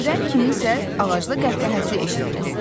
Birdən kiminsə ağacda qəhqəhəsi eşidildi.